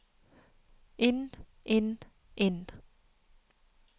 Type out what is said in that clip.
inn inn inn